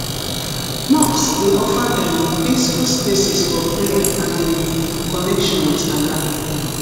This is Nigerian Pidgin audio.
mosques dey offer um peaceful spaces for prayer and um connection with allah